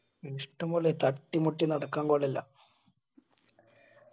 ഇഷ്ടംപോലെ തട്ടിമുട്ടി നടക്കാൻ കൂടെയില്ല